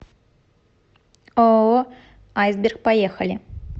ооо айсберг поехали